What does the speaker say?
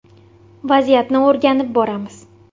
Vaziyatni o‘rganib boramiz.